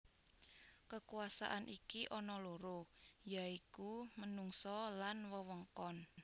Kekuasaan iki ana loro ya iku menungsa lan wewengkon